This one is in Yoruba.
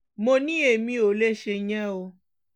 mo ní èmi ò lè ṣèyẹn o